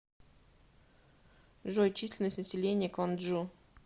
джой численность населения кванджу